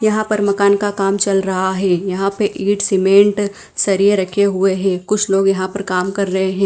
यहां पर मकान का काम चल रहा है। यहां पे इट सीमेंट सरिये रखे हुए हैं। कुछ लोग यहां पर काम कर रहे हैं।